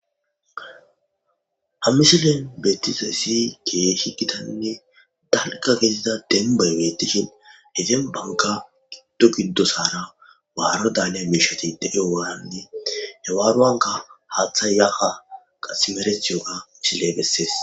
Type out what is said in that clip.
ha mmisilen beettizayssi keehi gitanne dalga gedida denbay beettishin he den banka giddo giddosara waaro daaleya miishatideyowaanande hewaaruwanka haaththa yaha qasi simerethiyoga misiley bessees